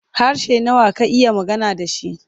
Harshe nawa ka iya magana da shi?